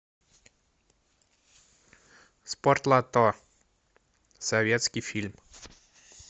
спортлото советский фильм